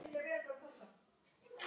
Láta af öllu slaðri.